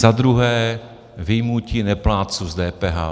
Za druhé vyjmutí neplátců z DPH.